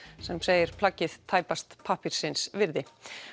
sem segir plaggið tæpast pappírsins virði